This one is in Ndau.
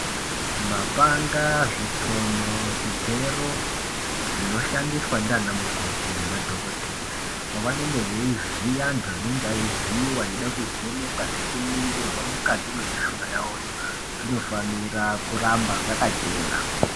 Mapanga, zvitsono, zvigero zvinoshandiswa ndiana mukoti nemadhokodheya pavanenge veivhiya antu anenge eivhiyiwa eide kuvhenekwa nekuningirwa mukati mwemushuna yavoyo zvinofanirwe kuramba zvakachena